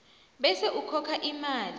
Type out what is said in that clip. bese ukhokha imali